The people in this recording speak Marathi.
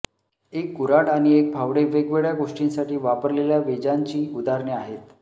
एक कुर्हाड आणि एक फावडे वेगवेगळ्या गोष्टींसाठी वापरलेल्या वेजांची उदाहरणे आहेत